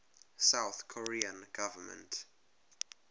south korean government